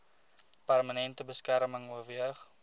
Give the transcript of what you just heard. permanente beskerming oorweeg